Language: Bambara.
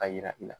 A yira i la